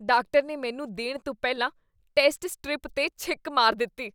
Doctor ਨੇ ਮੈਨੂੰ ਦੇਣ ਤੋਂ ਪਹਿਲਾਂ ਟੈਸਟ ਸਟ੍ਰਿਪ 'ਤੇ ਛਿੱਕ ਮਾਰੀ ਦਿੱਤੀ।